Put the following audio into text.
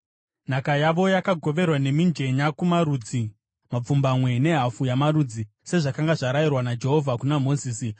Nhaka yavo yakagoverwa nemijenya kumarudzi mapfumbamwe nehafu yamarudzi, sezvakanga zvaraiyirwa naJehovha kuna Mozisi.